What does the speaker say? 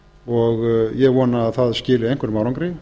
og ég vona að það skili einhverjum árangri